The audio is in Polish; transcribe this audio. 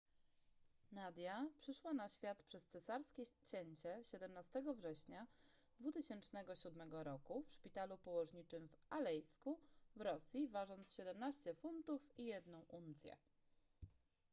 nadia przyszła na świat przez cesarskie cięcie 17 września 2007 r w szpitalu położniczym w alejsku w rosji ważąc 17 funtów i 1 uncję